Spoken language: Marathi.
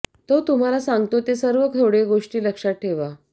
तो तुम्हाला सांगतो ते सर्व थोडे गोष्टी लक्षात ठेवा